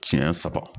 Siɲɛ saba